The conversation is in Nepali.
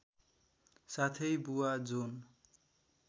साथै बुवा जोन